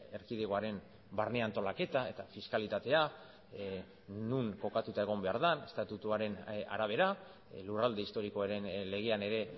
erkidegoaren barne antolaketa eta fiskalitatea non kokatuta egon behar den estatutuaren arabera lurralde historikoaren legean ere